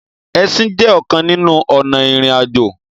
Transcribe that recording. Ẹsìn jé ọkàn nínú ònà irin-ajo.